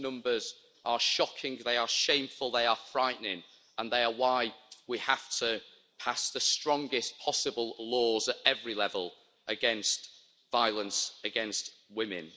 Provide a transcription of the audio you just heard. Those numbers are shocking, they are shameful, they are frightening, and they are why we have to pass the strongest possible laws at every level against violence against women.